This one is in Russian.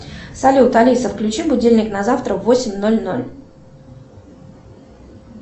салют алиса включи будильник на завтра в восемь ноль ноль